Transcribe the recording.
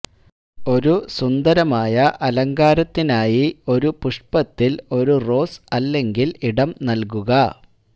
ഒരു സുന്ദരമായ അലങ്കാരത്തിനായി ഒരു പുഷ്പത്തിൽ ഒരു റോസ് അല്ലെങ്കിൽ ഇടം നൽകുക